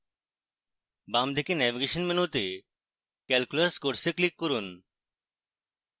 বাম দিকে navigation মেনুতে calculus course এ click করুন